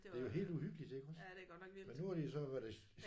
Det er helt uhyggeligt iggås men nu har de jo så var det